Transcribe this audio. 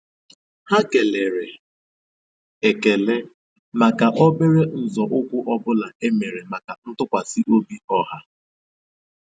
Há kélèrè ékélè màkà óbérè nzọ́ụ́kwụ́ ọ́ bụ́lá é mèrè màkà ntụ́kwasị́ óbí ọ́há.